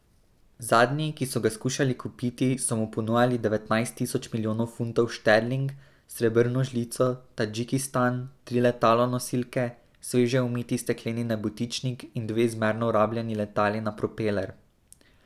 Zadnji, ki so ga skušali kupiti, so mu ponujali devetnajst tisoč milijonov funtov šterling, srebrno žlico, Tadžikistan, tri letalonosilke, sveže umiti stekleni nebotičnik in dve zmerno rabljeni letali na propeler.